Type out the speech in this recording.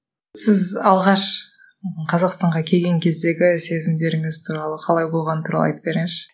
сіз алғаш қазақстанға келген кездегі сезімдеріңіз туралы қалай болғаны туралы айтып беріңізші